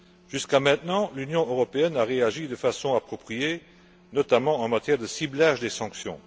Jusqu'à maintenant, l'Union européenne a réagi de façon appropriée, notamment au niveau du ciblage des sanctions.